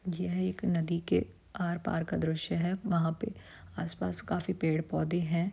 ये एक नदी के आर-पार का दृश्य है वहाँ पे आस-पास काफी पेड़-पौधे हैं।